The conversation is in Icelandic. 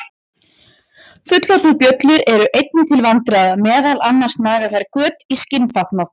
Fullorðnar bjöllur eru einnig til vandræða, meðal annars naga þær göt á skinnfatnað.